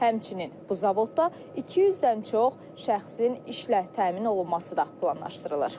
Həmçinin bu zavodda 200-dən çox şəxsin işlə təmin olunması da planlaşdırılır.